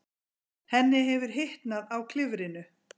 Henni hefur hitnað á klifrinu.